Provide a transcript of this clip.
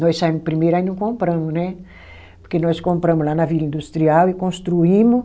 Nós saímo primeiro, aí não compramo, porque nós compramo lá na Vila Industrial e construímo